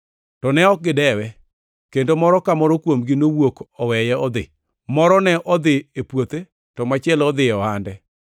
“To ne ok gidewe, kendo moro ka moro kuomgi nowuok oweye odhi, moro ne odhi e puothe, to machielo nodhi e ohande.